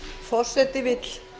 forseti vill